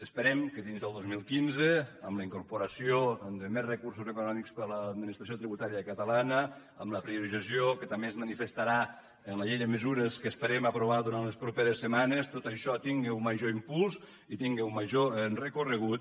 esperem que dins del dos mil quinze amb la incorporació de més recursos econòmics per a l’administració tributària catalana amb la priorització que també es manifestarà en la llei de mesures que esperem aprovar durant les properes setmanes tot això tingui un major impuls i tingui un major recorregut